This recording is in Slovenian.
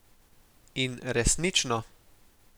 In, resnično!